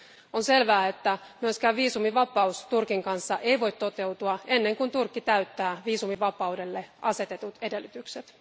On selvää, että myöskään viisumivapaus Turkin kanssa ei voi toteutua ennen kuin Turkki täyttää viisumivapaudelle asetetut edellytykset.